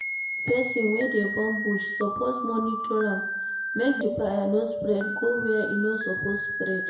Persin wey de burn bush suppose monitor am make di fire no spread go where e no suppose spread